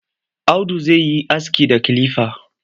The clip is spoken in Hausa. Audu zai yi aski da kilifa.